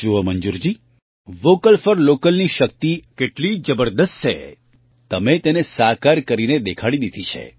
જુઓ Manjurji vocal for local ની શક્તિ કેટલી જબરદસ્ત છે તમે તેને સાકાર કરીને દેખાડી દીધી છે